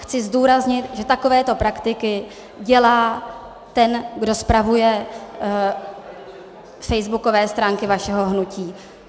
Chci zdůraznit, že takovéto praktiky dělá ten, kdo spravuje facebookové stránky vašeho hnutí.